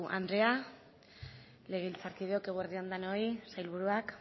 andrea legebiltzarkideok eguerdi on denoi sailburuak